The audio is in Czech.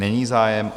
Není zájem.